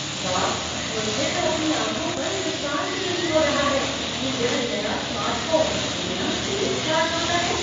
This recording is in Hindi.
वाह, मुझे तो अपनी आंखों पर विश्वास ही नहीं हो रहा है कि यह नया स्मार्टफोन इतनी तेज़ चार्ज होता है!